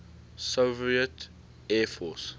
soviet air force